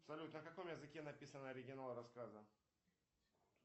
салют на каком языке написан оригинал рассказа